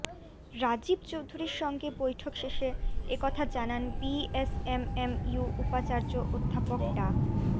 রাজীব চৌধুরীর সঙ্গে বৈঠক শেষে এ কথা জানান বিএসএমএমইউ উপাচার্য অধ্যাপক ডা